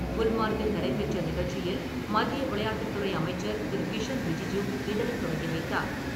குல்மர்க்கில் நடைபெற்ற நிகழ்ச்சியில் மத்திய விளையாட்டுத்துறை அமைச்சர் திரு. கிரண் ரிஜிஜூ இதனை தொடங்கிவைத்தார்.